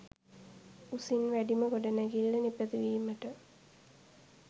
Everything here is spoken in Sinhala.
උසින් වැඩිම ගොඩනැඟිල්ල නිපදවීමට